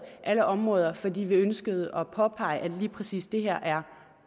alle områder fordi vi ønskede at påpege at lige præcis det her er